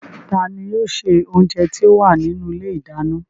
Ta ni yóò ṣe oúnjẹ tí ó wà nínú ilé ìdáná?